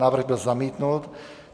Návrh byl zamítnut.